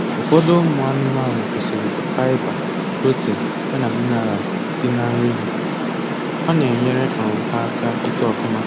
Ụfọdụ ụmụ anụmanụ kwesiri k' fibre, protein ya na mineral di na nri ha, ọna enyere um ha aka itoo ọfụma